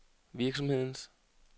virksomhedens